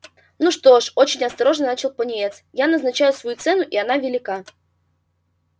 ну что ж очень осторожно начал пониетс я назначаю свою цену и она велика